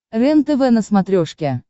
рентв на смотрешке